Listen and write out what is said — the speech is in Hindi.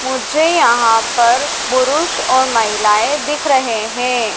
मुझे यहां पर पुरुष और महिलाएं दिख रहे हैं।